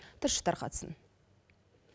тілші тарқатсын